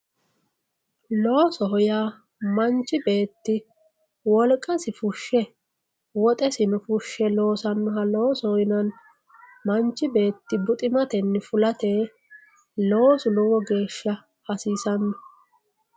Loosoho yaa manchi beeti wolqasi fushe woxesino fushe loosanoha loosoho yinanni, manchi beeti buxximatte fulate loosu lowo geesha hasisano